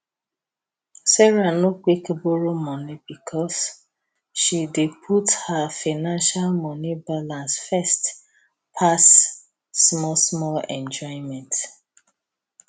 sarah no quick borrow money because she dey put her financial money balance first pass small small enjoyment